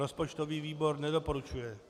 Rozpočtový výbor nedoporučuje.